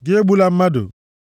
Gị egbula mmadụ.